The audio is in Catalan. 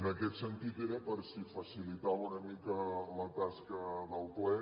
en aquest sentit era per si facilitava una mica la tasca del ple